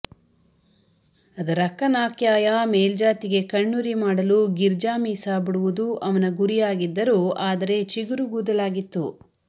ಅದರಕ್ಕನಾಕ್ಯಾಯ ಮೇಲ್ಜಾತಿಗೆ ಕಣ್ಣುರಿ ಮಾಡಲು ಗಿರ್ಜಾಮೀಸ ಬುಡುವುದು ಅವನ ಗುರಿಯಾಗಿದ್ದರೂ ಆದರೆ ಚಿಗುರುಗೂದಲಾಗಿತ್ತು